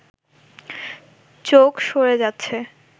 চোখ সরে যাচ্ছে